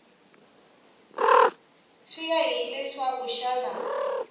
swi ya hi leswaku xana